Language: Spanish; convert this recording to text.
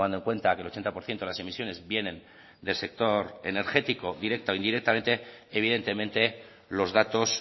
en cuenta que el ochenta por ciento de las emisiones vienen del sector energético directa o indirectamente evidentemente los datos